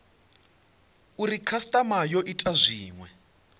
uri khasitama yo ita zwinwe